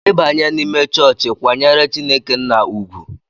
I banye n'ime chọọchị, kwanyere Chineke nna ugwu!